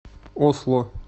осло